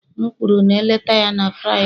M kwuru na-eleta ya na Fraịde